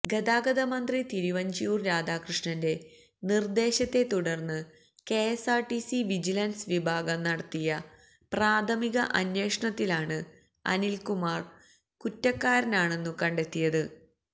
ഗതാഗതമന്ത്രി തിരുവഞ്ചൂര് രാധാകൃഷ്ണന്റെ നിര്ദ്ദേശത്തെ തുടര്ന്നു കെഎസ്ആര്ടിസി വിജിലന്സ് വിഭാഗം നടത്തിയ പ്രാഥമിക അന്വേഷണത്തിലാണ് അനില്കുമാര് കുറ്റക്കാരനാണെന്നു കണ്ടത്തെിയത്